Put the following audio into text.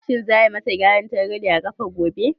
Za a yi ma sa gyaran targaɗe a ƙafa gobe?